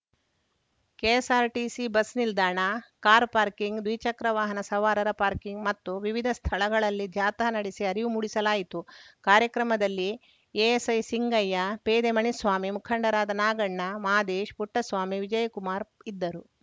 KSRTC bus ನಿಲ್ದಾಣ car parking ದ್ವಿಚಕ್ರ ವಾಹನ ಸವಾರರ ಪಾರ್ಕಿಂಗ್‌ ಮತ್ತು ವಿವಿಧ ಸ್ಥಳಗಳಲ್ಲಿ ಜಾಥಾ ನಡೆಸಿ ಅರಿವು ಮೂಡಿಸಲಾಯಿತು ಕಾರ್ಯಕ್ರಮದಲ್ಲಿ ಎಎಸ್‌ಐ ಸಿಂಗಯ್ಯ ಪೇದೆ ಮಣಿಸ್ವಾಮಿ ಮುಖಂಡರಾದ ನಾಗಣ್ಣ ಮಾದೇಶ್‌ ಪುಟ್ಟಸ್ವಾಮಿ ವಿಜಯಕುಮಾರ್‌ ಇದ್ದರು